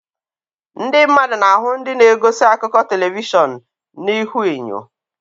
Ndị mmadụ na-ahụ ndị na-egosi akụkọ telivishọn na ihuenyo.